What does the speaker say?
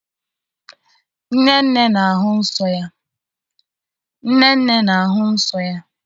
Nnenne na-ahụ nsọ ya.